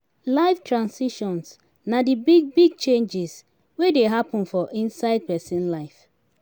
life transitions na di big big changes wey dey happen for inside person life